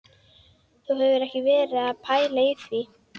Þú hefur ekki verið að pæla í því?